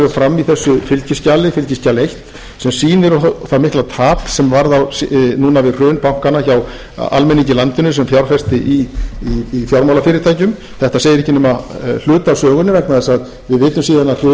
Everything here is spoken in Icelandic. fram í þessu fylgiskjali fylgiskjali eina sem sýnir það mikla tap sem varð núna við hrun bankanna hjá almenningi í landinu sem fjárfesti í fjármálafyrirtækjum þetta segir ekki eða hluta af sögunni vegna þess að við vitum síðan að hrun